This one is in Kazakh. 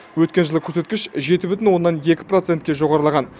өткен жылы көрсеткіш жеті бүтін оннан екі процентке жоғарылаған